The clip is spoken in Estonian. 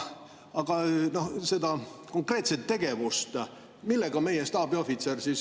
Aga meie staabiohvitseri konkreetne tegevus?